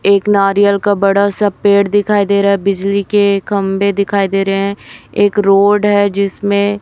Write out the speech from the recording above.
एक नारियल का बड़ा सा पेड़ दिखाई दे रहा है बिजली के खंभे दिखाई दे रहे हैं एक रोड है जिसमें--